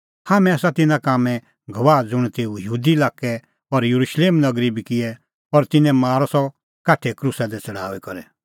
हाम्हैं आसा तिन्नां कामें गवाह ज़ुंण तेऊ यहूदा लाक्कै और येरुशलेम नगरी बी किऐ और तिन्नैं मारअ सह काठे क्रूसा दी छ़ड़ाऊई करै